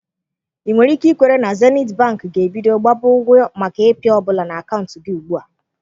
Ị nwere ike ikwere na Zenith Bank ga-ebido gbaba ụgwọ maka ịpị ọ bụla na akaụntụ gị ugbu a.